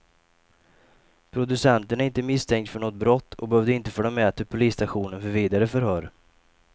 Producenten är inte misstänkt för något brott och behövde inte följa med till polisstationen för vidare förhör.